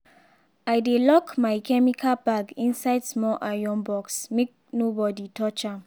i dey lock my chemical bag inside small iron box make nobody touch am.